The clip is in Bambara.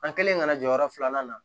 An kɛlen kana jɔyɔrɔ filanan na